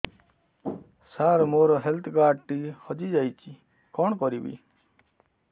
ସାର ମୋର health card ଟି ହଜି ଯାଇଛି କଣ କରିବି